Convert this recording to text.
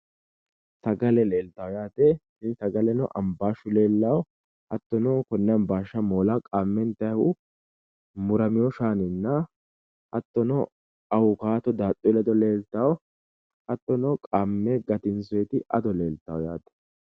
Sagale leeltawo yaate, tini sagaleno hambaashu leellanno, hattono konne hambaasha moola qaame intayihu murameewo shaannina hattono awukaato daaxxu ledo leeltaawo hattonobqaamme gatinsooyiti ado leeltanno